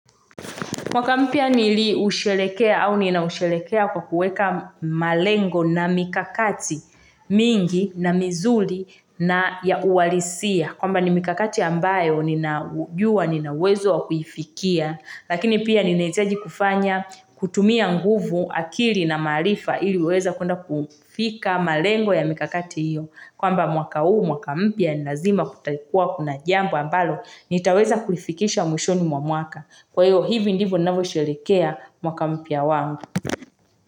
Mwaka mpya niliusherekea au ninausherekea kwa kuweka malengo na mikakati mingi na mizuri na ya ualisia. Kwamba ni mikakati ambayo nina jua ninawezo wa kuifikia. Lakini pia ninahitaji kufanya, kutumia nguvu akili na maarifa ili uweze kuenda kufika malengo ya mikakati hiyo. Kwamba mwaka huu mwaka mpya nilazima kutakua kuna jambo ambalo nitaweza kulifikisha mwishoni mwa mwaka. Kwa hivyo, hivi ndivyo ninavyo sherehekea mwaka mpya wangu.